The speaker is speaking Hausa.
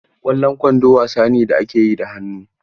Ƙwallon kwando wasa ne da ake yi da hannu.